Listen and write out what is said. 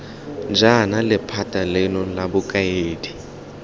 jaana lephata leno la bokaedi